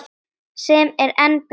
Sem er enn betra.